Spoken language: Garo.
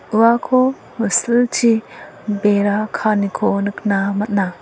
uako silchi bera kaaniko nikna man·a.